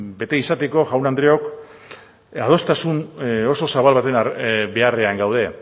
bete izateko jaun andreok adostasun oso zabal baten beharrean gaude